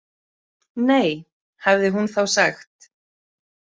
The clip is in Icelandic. Nei, hafði hún þá sagt.